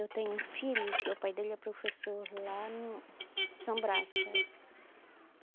Eu tenho um filho, que o pai dele é professor lá no São Brás, sabe?